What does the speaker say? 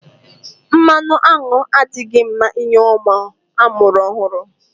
Mmanụ aṅụ adịghị mma nye ụmụ amụrụ ọhụrụ.